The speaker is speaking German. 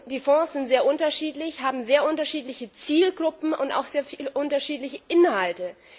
Die Fonds sind sehr unterschiedlich, haben sehr unterschiedliche Zielgruppen und auch sehr unterschiedliche Inhalte.